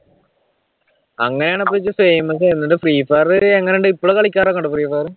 അങ്ങനാണിപ്പോ ഇത് famous ആയത് എന്നിട്ട് free fire എങ്ങനുണ്ട് ഇപ്പളും കളിക്കാരൊക്കെ ഉണ്ടോ freefire?